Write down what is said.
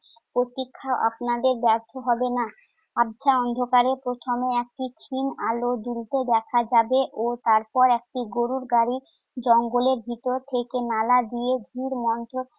প্রতীক্ষা আপনাদের ব্যর্থ হবে না। আবছা অন্ধকারে প্রথমে একটি ক্ষীণ আলো জ্বলতে দেখা যাবে ও তারপরে একটি গরুর গাড়ি জঙ্গলের ভেতর থেকে নালা দিয়ে ধীরমন্থর